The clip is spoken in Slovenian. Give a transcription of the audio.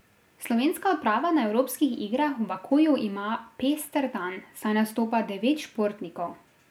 Slovenska odprava na evropskih igrah v Bakuju ima pester dan, saj nastopa devet športnikov.